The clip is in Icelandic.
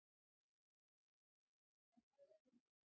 Er ekki rafmögnuð spenna á vellinum Lillý?